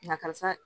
Na karisa